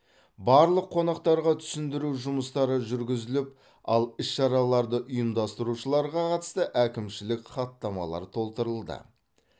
барлық қонақтарға түсіндіру жұмыстары жүргізіліп ал іс шараларды ұйымдастырушыларға қатысты әкімшілік хаттамалар толтырылды